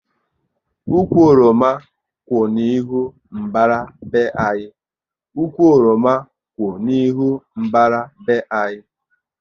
Ụkwụ oroma kwụ n'ihu mbàrá be anyị